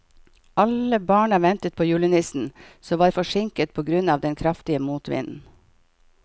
Alle barna ventet på julenissen, som var forsinket på grunn av den kraftige motvinden.